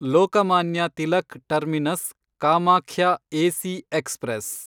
Lokmanya Tilak terminus Kamakhya AC express